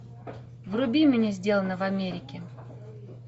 вруби мне сделано в америке